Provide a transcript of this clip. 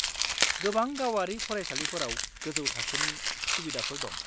-गोबां गावारि फरायसालिफोराव गोजौ थाखोनि सुबिदाफोर दं।